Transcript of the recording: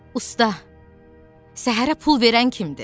Usta, səhərə pul verən kimdir?